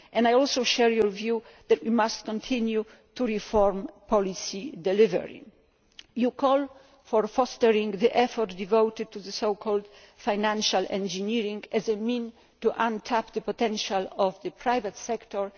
I share your view that we must continue to reform policy delivery. You call for fostering the effort devoted to so called financial engineering' as a means of tapping the potential of the private sector.